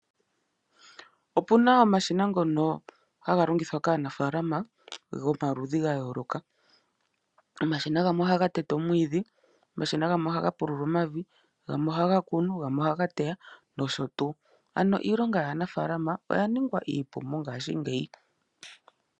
Opu na omashina ngono haga longithwa kaanafalama gomaludhi ga yooloka omashina gamwe oha ga tete omwiidhi, omashina gamwe oha ga pulula omavi, gamwe oha ga kunu, gamwe oha ga teya nosho tuu ano iilonga yaanafalama oya ningwa iipu mongaashingeyi.